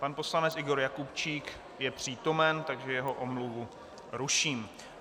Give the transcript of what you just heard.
Pan poslanec Igor Jakubčík je přítomen, takže jeho omluvu ruším.